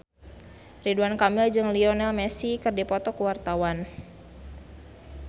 Ridwan Kamil jeung Lionel Messi keur dipoto ku wartawan